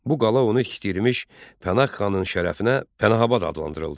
Bu qala onu tikdirmiş Pənah xanın şərəfinə Pənahabad adlandırıldı.